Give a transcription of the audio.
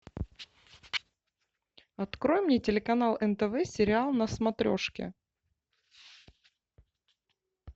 открой мне телеканал нтв сериал на смотрешке